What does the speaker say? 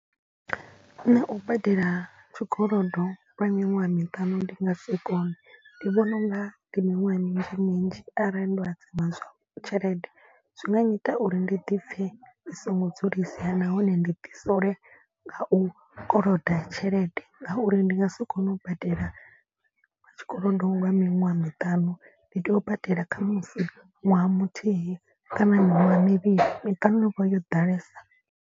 Nṋe u badela tshikolodo lwa miṅwaha miṱanu ndi nga si kone. Ndi vhona unga ndi miṅwaha minzhi minzhi arali ndo hadzima tshelede. Zwi nga nyita uri ndi ḓipfhe ndi songo dzulisea nahone ndi ḓi sole nga u koloda tshelede. Ngauri ndi nga si kone u badela tshikolodo lwa miṅwaha miṱanu. Ndi tea u badela khamusi ṅwaha muthihi kana miṅwaha mivhili miṱanu vho yo ḓalesa.